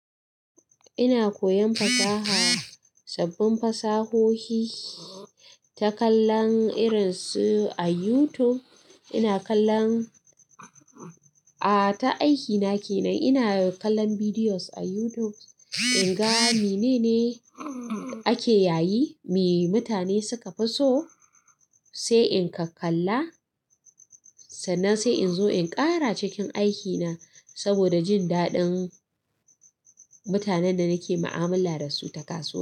Ina koyan fasaha, sabbin fasahohi ta kallon irin su a YouTube. Ina kallon, a ta aikina kenan ina kallon videos a YouTube in ga menene ake yayi, me mutane suka fi so sai in kakkalla, sannan sai in zo in ƙara cikin aikina saboda jin daɗin mutanen da nake mu'amala da su ta kasuwa.